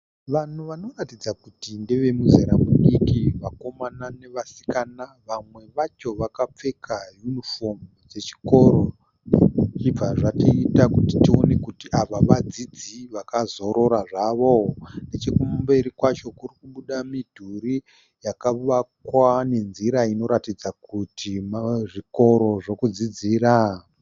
Vanhu vanoratidza kuti ndeve mizera midiki, vakomana nevasikana vamwe vacho vakapfeka yunifomu dzechikoro zvichibva zvatiita kuti tione kuti ava vadzidzi vakazorora zvavo. Nechokumberi kwacho kuri kubuda midhuri yakavakwa nenzira inoratidza kuti muzvikoro zvokudzidzira.